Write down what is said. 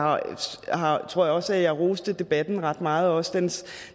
tror også at jeg roste debatten ret meget også dens